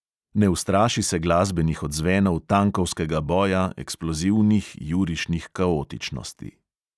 Ne ustraši se glasbenih odzvenov tankovskega boja, eksplozivnih jurišnih kaotičnosti.